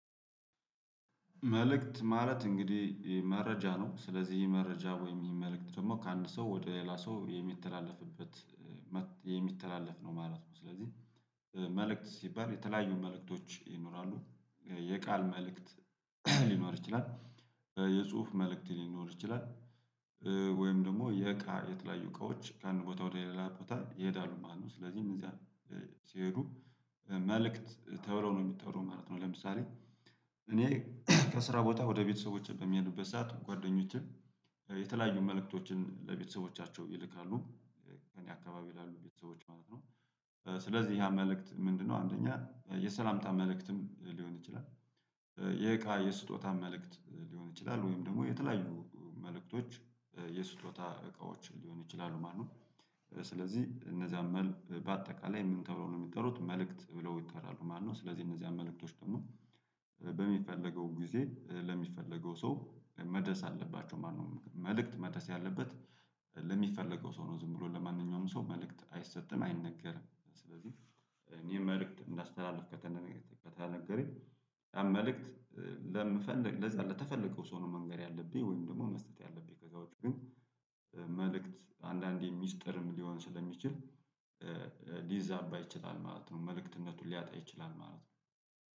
መልእክት ማለት እንግዲህ መረጃ ነው ስለዚህ ይሄ መረጃ ወይም ይሄ መልእክት ደግሞ ከአንድ ሰው ወደ ሌላ ሰው የሚተላለፍበት የሚተላለፍ ነው ማለት ነው። ስለዚህ መልእክት ሲባል የተለያዩ መልእክቶች ይኖራሉ የቃል መልእክት ሊኖር ይችላል፤ የጽሁፍ መልእክት ሊኖር ይችላል ወይም ደግሞ የእቃ የተለያዩ እቃዎች ከአንድ ቦታ ወደ ሌላ ቦታ ይሄዳሉ ማለት ነው። ስለዚህም እዚያ ሲሄዱ መልእክት ተብለው ነው የሚጠሩት ማለት ነው። ለምሳሌ እኔ ከስራ ቦታ ወደ ቤተሰቦቼ በምሄድበት ሰዓት ጓደኞቼ የተለያዩ መልእክቶችን ለቤተሰቦቻቸው ይልካሉ። ከእኔ አካባቢ ላሉ ቤተሰቦች ማለት ነው። ስለዚህ ያ መልእክት ምንድነው አንደኛ የሰላምታ መልእክትም ሊሆን ይችላል የእቃ የስጦታ መልእክት ሊሆን ይችላል ወይም ደግሞ የተለያዩ መልእክቶች የስጦታ እቃዎችን ሊሆኑ ይችላሉ ማለት ነው። ስለዚህ እነዛን መል በአጠቃላይ ምን ተብሎ ነው የሚጠሩት መልእክት ብለው ይጠራሉ ማለት ነው። ስለዚህ እነዚያ መልእክቶች ደግሞ በሚፈለገው ጊዜ ለሚፈለገው ሰው መድረስ አለባቸው ማለት ነው። መልእክት መድረስ ያለበት ለሚፈለገው ሰው ነው። ዝም ብሎ ለማንኛውም ሰው መልእክት አይሰጥም አይነገርም። ስለዚህ እኔ መልእክት እንዳስተላልፍ ከተነገረኝ መልእክት ለምፈልግ ለዛ ለተፈለገው ሰው ነው መንገር ያለብኝ ወይም ደግሞ መስጠት ያለብኝ። ከዛ ውጪ ግን መልእክት አንዳንዴ ሚስጥርም ሊሆን ስለሚችል ሊዛባ ይችላል ማለት ነው። መልእክትነቱን ሊያጣ ይችላል ማለት ነው።